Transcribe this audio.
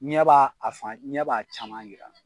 Ɲɛ b'a fan ɲɛ b'a a caman yira